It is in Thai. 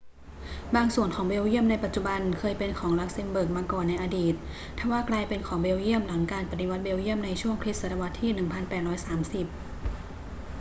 บางส่วนของเบลเยียมในปัจจุบันเคยเป็นของลักเซ็มเบิร์กมาก่อนในอดีต ทว่ากลายเป็นของเบลเยียมหลังการปฏิวัติเบลเยี่ยมในช่วงคริสตศตวรรษที่ 1830